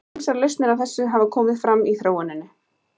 Ýmsar lausnir á þessu hafa komið fram í þróuninni.